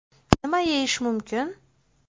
Nima yeyish mumkin?